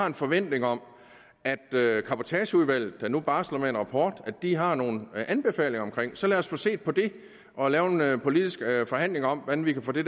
en forventning om at cabotageudvalget der nu barsler med en rapport har nogle anbefalinger omkring så lad os få set på det og lavet en politisk forhandling om hvordan vi kan få det